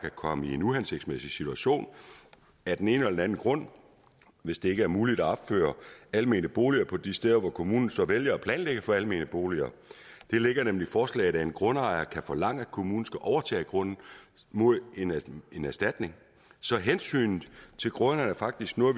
komme i en uhensigtsmæssig situation af den ene eller den anden grund hvis det ikke er muligt at opføre almene boliger på de steder hvor kommunen så vælger at planlægge for almene boliger det ligger nemlig i forslaget at en grundejer kan forlange at kommunen skal overtage grunden mod en erstatning erstatning så hensynet til grundejeren er faktisk noget